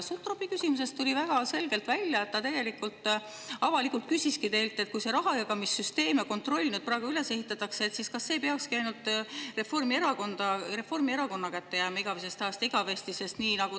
Sutropi küsimusest tuli väga selgelt välja, et ta küsis teilt avalikult, et kui see rahajagamissüsteem ja kontroll praegu nii üles ehitatakse, siis kas see ei peaks jääma igavesest ajast igavesti ainult Reformierakonna kätte.